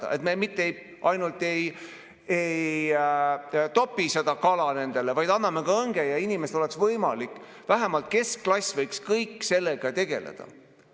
Nii et me mitte ainult ei topi nendele kala, vaid anname õnge, et inimestel oleks võimalik, vähemalt keskklassil, sellega tegeleda.